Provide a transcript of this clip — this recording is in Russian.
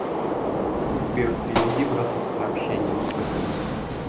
сбер переведи брату с сообщением спасибо